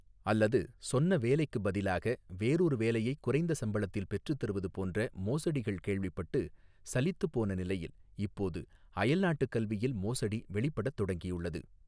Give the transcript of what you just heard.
அல்லது சொன்ன வேலைக்குப் பதிலாக வேறொரு வேலையை குறைந்த சம்பளத்தில் பெற்றுத்தருவது போன்ற மோசடிகள் கேள்விப்பட்டு சலித்துப்போன நிலையில் இப்போது அயல்நாட்டுக் கல்வியில் மோசடி வெளிப்படத் தொடங்கியுள்ளது.